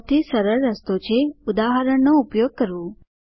સૌથી સરળ રસ્તો છે ઉદાહરણનો ઉપયોગ કરવું